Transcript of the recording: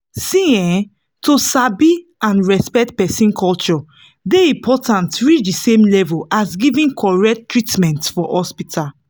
see[um]to sabi and respect person culture dey important reach the same level as giving correct treatment for hospital.